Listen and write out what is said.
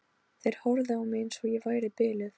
Þeir horfðu á mig eins og ég væri biluð.